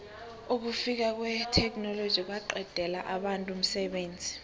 ukufika kwetheknoloji kwaqedela abantu umsebenzi